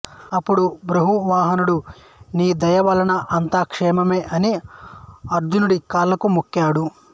అప్పుడు బభ్రువాహనుడు మీ దయ వలన అంతా క్షేమమే అని అర్జునుడి కాళ్ళకు మొక్కాడు